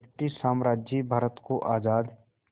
British साम्राज्य भारत को आज़ाद